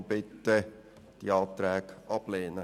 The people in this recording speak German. Deshalb bitte ich Sie, die Anträge abzulehnen.